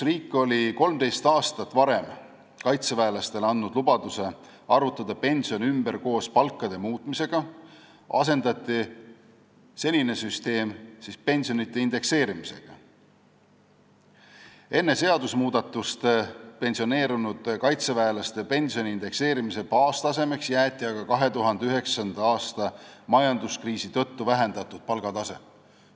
Riik oli 13 aastat varem andnud kaitseväelastele lubaduse arvutada pension koos palkade muutmisega ümber, kuid nüüd asendati senine süsteem pensionide indekseerimisega, enne seadusmuudatust pensioneerunud kaitseväelaste pensioni indekseerimise baastasemeks jäeti aga 2009. aasta majanduskriisi tõttu vähendatud palgatase.